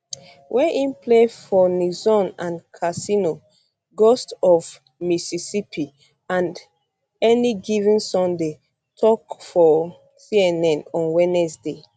wey im play for nixon and casino ghosts of mississippi and any given sunday tok for cnn on wednesday